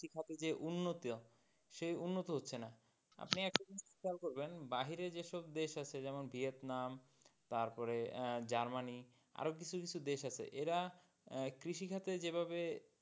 খাদের যে উন্নত সেই উন্নত হচ্ছে না আপনি একটা জিনিস খেয়াল করবেন বাইরে যেমন দেশ আছে যেমন ভিয়েতনাম তারপরে জার্মানি আরও কিছু কিছু দেশ আছে এরা কৃষি খাদে যেভাবে,